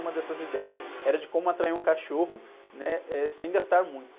Uma dessas ideias era de como atrair um cachorro, né? Eh, sem gastar muito.